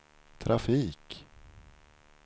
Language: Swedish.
trafik